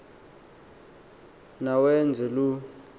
na wenze loo